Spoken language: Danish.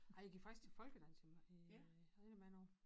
Ej jeg gik faktisk til folkedans i øh rigtig mange år